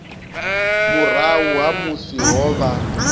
murahu ha musi ho vha